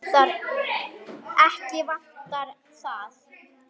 Ekki vantar það.